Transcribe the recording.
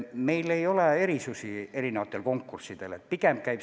Meil ei ole erinevatel konkurssidel selles mõttes erisusi.